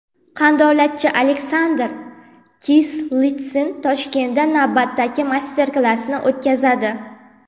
Qandolatchi Aleksandr Kislitsin Toshkentda navbatdagi master-klassni o‘tkazadi.